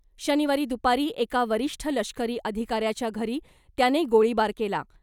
शनिवारी दुपारी एका वरिष्ठ लष्करी अधिकाऱ्याच्या घरी त्याने गोळीबार केला .